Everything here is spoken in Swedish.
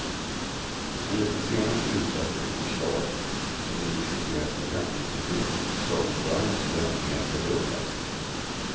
Enligt det senaste utkastet till förslag som nu diskuteras i framtidsutredningen ska ordförandens lön mer än fördubblas.